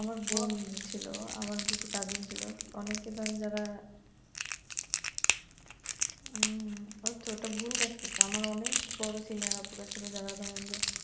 আমার বোন ছিল আমার কিছু cousin ছিল অনেকে ধরেন যারা উম ওতো অনেক ভুল কাজ করছে আমার অনেক senior আপুরা ছিল যারা মনে করেন যে